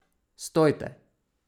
Stojte!